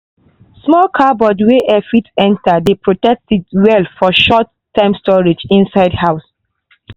small cupboard wey air fit enter dey protect seed well for short-time storage inside house.